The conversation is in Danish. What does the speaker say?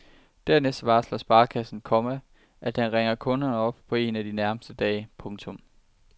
Dernæst varsler sparekassen, komma at den ringer kunden op en af de nærmeste dage. punktum